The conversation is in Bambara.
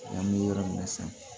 An bɛ yɔrɔ min na sisan